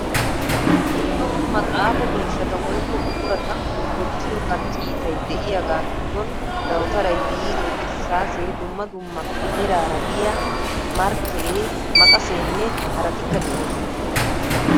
Dumma dumma xaafo miishshata woykko buqurata wottiyo qarcciitay de'iyagaa giddon dawutaray, biiree irssaasee, dumma dumma meraara diya markkeree, maqaseenne haraatikka de'oosona.